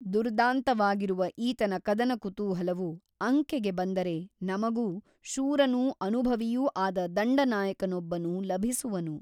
ದುರ್ದಾಂತವಾಗಿರುವ ಈತನ ಕದನಕುತೂಹಲವು ಅಂಕೆಗೆ ಬಂದರೆ ನಮಗೂ ಶೂರನೂ ಅನುಭವಿಯೂ ಆದ ದಂಡನಾಯಕನೊಬ್ಬನು ಲಭಿಸುವನು.